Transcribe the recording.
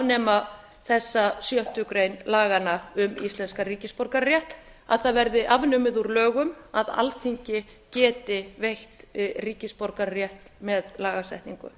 afnema þessa sjöttu grein laganna um íslenskan ríkisborgararétt að það verði afnumið úr lögum að alþingi geti veitt ríkisborgararétt með lagasetningu